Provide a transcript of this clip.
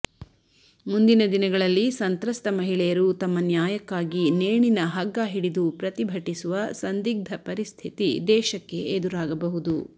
ಮುಂದಿನ ದಿನಗಳಲ್ಲಿ ಸಂತ್ರಸ್ತ ಮಹಿಳೆಯರು ತಮ್ಮ ನ್ಯಾಯಕ್ಕಾಗಿ ನೇಣಿನ ಹಗ್ಗ ಹಿಡಿದು ಪ್ರತಿಭಟಿಸುವ ಸಂದಿಗ್ಧ ಪರಿಸ್ಥಿತಿ ದೇಶಕ್ಕೆ ಎದುರಾಗಬಹುದು